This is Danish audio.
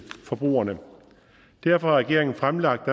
forbrugerne derfor har regeringen fremlagt